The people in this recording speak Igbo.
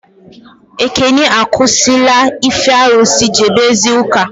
Ekene akwụsị la ife arụsị, jebe zie ụka